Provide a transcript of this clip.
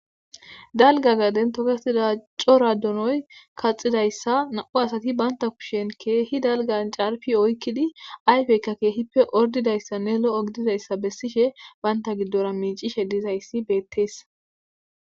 Dalga gaden tokettida donoy coray kaxxidayssa nam7u asati ba kushen keehi dalgga oykidi ayfeyika keehippe ordidayssa lo7o gididayssa bessishe banta gidora miiccishe dizayssi beettees.